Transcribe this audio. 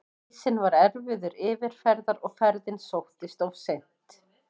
Ísinn var erfiður yfirferðar og ferðin sóttist of seint.